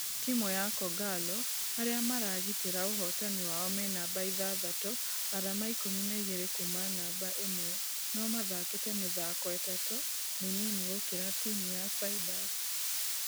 Timũ ya kogalo arĩa maragitera ũhotani wao me namba ithathatũ arama ikũmi na igĩrĩ kuuma namba ĩmwe , nũ mathakĩte mĩthako ĩtatũ mĩnini gũkĩra timũ ya ciders.